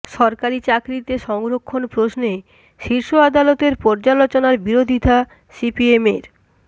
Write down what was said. সরকারি চাকরিতে সংরক্ষণ প্রশ্নে শীর্ষ আদালতের পর্যালোচনার বিরোধিতা সিপিএমের